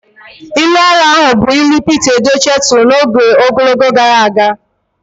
Ilu ara ahụ bụ ilu Pete Edochie turu n'ogologo oge gara aga.